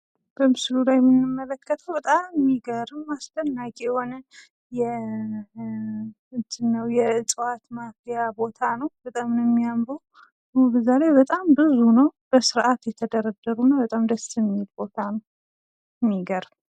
በምስሉ ላይ የምንመለከተው በጣም የሚገርም አስደናቂ የሆነ የእፅዋት ማፊያ ቦታ ነው ። በዛላይ በጣም ብዙ ነው የተደረደረ በጣም የሚያምር ነው።